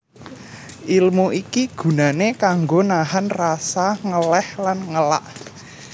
Ilmu iki gunané kanggo nahan rasa ngeléh lan ngelak